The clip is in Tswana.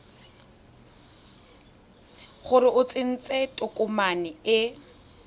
gore o tsentse tokomane e